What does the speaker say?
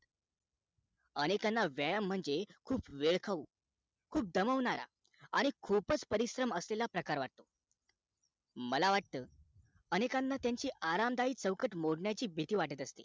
आणि त्यांना व्यायाम म्हणजे खूप वेळ खाऊ खूप दमवणाराआणि खूपच परिश्रम असलेला प्रकार वाटो मला वाट अनेकांना त्यांची अराम दायक चौकट मोडण्याची भीती वाटत असते